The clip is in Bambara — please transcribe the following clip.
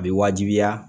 A bɛ wajibiya